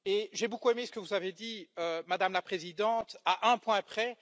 J'ai beaucoup aimé ce que vous avez dit, Madame la Présidente, à un point près.